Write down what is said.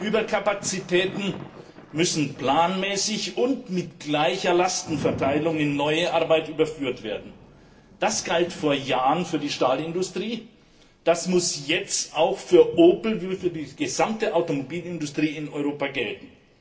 Überkapazitäten müssen planmäßig und mit gleicher Lastenverteilung in neue Arbeit überführt werden. Das galt vor Jahren für die Stahlindustrie, das muss jetzt auch für Opel sowie für die gesamte Automobilindustrie in Europa gelten.